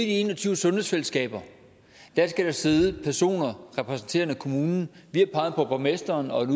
en og tyve sundhedsfællesskaber skal der sidde personer repræsenterer kommunen vi har peget på borgmesteren og en